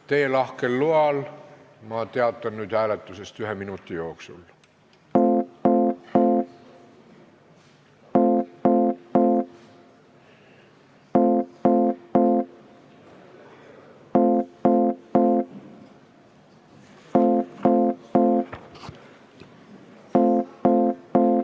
Teie lahkel loal teatan ma nüüd hääletusest ühe minuti jooksul.